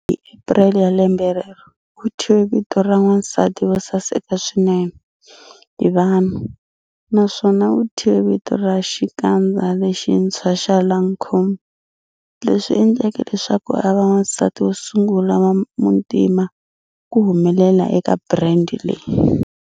Hi April ya lembe rero, u thyiwe vito ra Wansati wo Saseka Swinene hi Vanhu, naswona u thyiwe vito ra xikandza lexintshwa xa Lancôme, leswi endleke leswaku a va wansati wo sungula wa muntima ku humelela eka brand leyi.